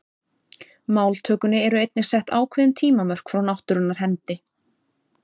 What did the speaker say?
Máltökunni eru einnig sett ákveðin tímamörk frá náttúrunnar hendi.